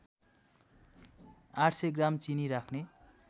८०० gram चिनी राख्ने